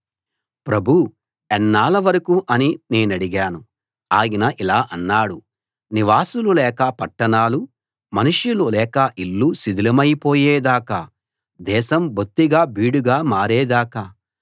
ప్రభూ ఎన్నాళ్ల వరకు అని నేనడిగాను ఆయన ఇలా అన్నాడు నివాసులు లేక పట్టణాలు మనుష్యులు లేక ఇళ్ళు శిథిలమైపోయే దాకా దేశం బొత్తిగా బీడుగా మారే దాకా